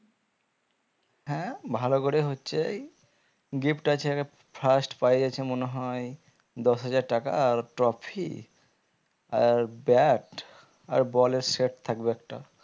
হ্যাঁ ভালো করে হচ্ছেই gift আছে আগে first prize আছে মনে হয়ে দশ হাজার টাকা আর trophy আহ bat আর ball এর set থাকবে একটা